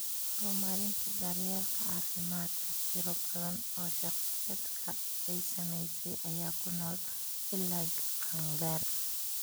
Horumarinta daryeelka caafimaadka, tiro badan oo shakhsiyaadka ay saamaysay ayaa ku nool ilaa qaangaar.